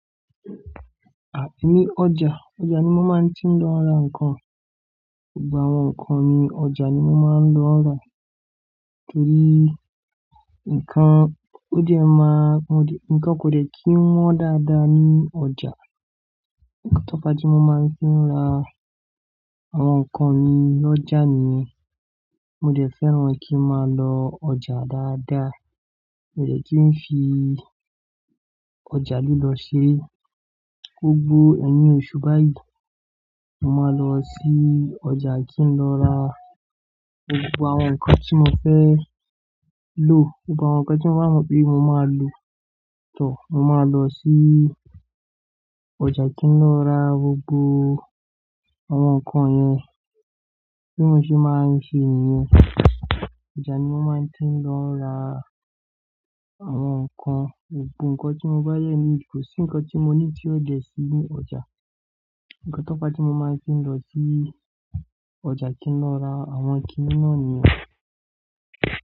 Emí ọjà. Ọjà ni mo máa ń tí ń lọ ra nǹkan. Gbogbo àwọn nǹkan mi ọjà ni mo máa ń lọ ra, torí nǹkan ò dè máa, nǹkan kò dè kí ń wọ́n dáadáa ní ọjà. Ǹkan tó fa tí mo máa ń fi ra àwọn nǹkan mi lọ́jà ni mo dẹ̀ fẹ́ràn kí ń máa lọ ọjà dáadáa. Mo dẹ̀ kí ń fi ọjà lílọ ṣere, gbógbo ẹyin oṣù báyìí, mo máa lọ sí ọjà kí ń lọ ra gbogbo àwọn nǹkan tí mo fẹ́ lò. Gbogbo àwọn nǹkan tí mo mọ̀ pé mo máa lò mo máa lọ sí ọjà kí ń lọ ra gbogbo àwọn nǹkan yẹn. Bí mo ṣe máa ń ṣe nìyẹn. Ọjà ni mo máa ń tí ń lọ ra àwọn nǹkan. Gbogbo nǹkan tí mo bá dẹ nílo, kò sí nǹkan tí mo nílo tí ó dẹ̀ sí ní ọjà. Ǹkan tó pa tí mo máa ń fi lọ sí ọjà kí ń lọ ra àwọn kíńní náà nìyẹn.